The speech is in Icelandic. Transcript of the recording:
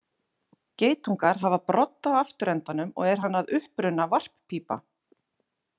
Geitungar hafa brodd á afturendanum og er hann að uppruna varppípa.